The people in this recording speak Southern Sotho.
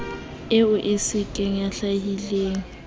eo e be se hlakileng